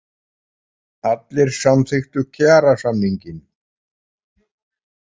Allir samþykktu kjarasamning